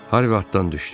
Harvi atdan düşdü.